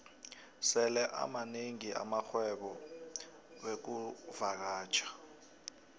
sele amanengi amarhwebo wexkuvakatjha